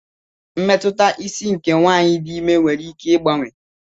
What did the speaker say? Mmetụta isi nke nwanyị dị imé nwere ike ịgbanwe.